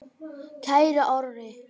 Kæri Orri.